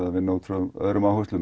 að vinna út frá öðrum áherslum